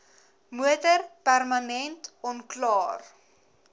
motor permanent onklaar